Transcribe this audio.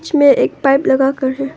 इसमें एक पाइप लगा कर है।